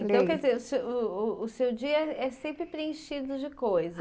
Então, quer dizer, o seu uh uh o seu dia é sempre preenchido de coisas.